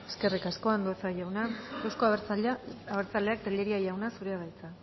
eskerrik asko andueza jauna euzko abertzaleak tellería jauna zurea da hitza